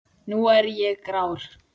Nú er ég grár.